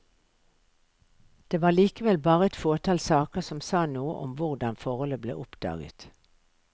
Det var likevel bare et fåtall saker som sa noe om hvordan forholdet ble oppdaget.